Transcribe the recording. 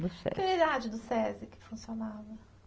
No Sesi. Que unidade do Sesi que funcionava?